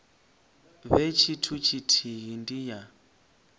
vhe tshithu tshithihi ndi ya